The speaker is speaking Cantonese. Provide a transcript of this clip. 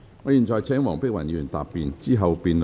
我現在請黃碧雲議員答辯。